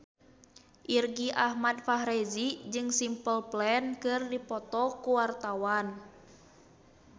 Irgi Ahmad Fahrezi jeung Simple Plan keur dipoto ku wartawan